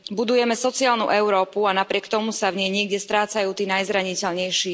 Budujeme sociálnu Európu a napriek tomu sa v nej niekde strácajú tí najzraniteľnejší.